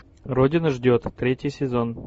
родина ждет третий сезон